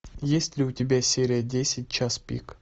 есть ли у тебя серия десять час пик